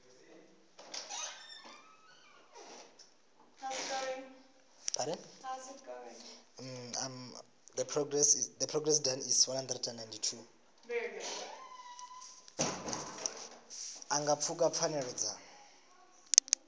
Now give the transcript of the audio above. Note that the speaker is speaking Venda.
a nga pfuka pfanelo dza